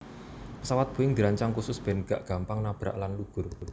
Pesawat Boeing dirancang khusus ben gak gampang nabrak lan lugur